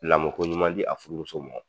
Lamɔko ɲuman di a furumuso mɔ.